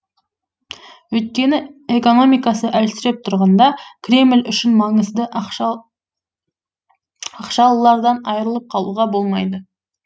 өйткені экономикасы әлсіреп тұрғанда кремль үшін маңызды ақшалылардан айырылып қалуға болмайды